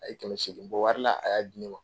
A ye kɛmɛ seegin bɔ wari a y'a di ne ma.